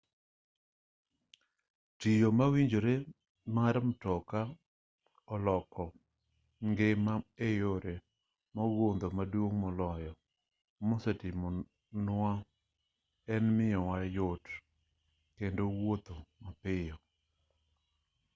tielo mawinyore mar mtoka oloko piny ngima eyore mogundho maduong' moloyo mosetimo nwa en miyowa yot kendo wuotho mapiyo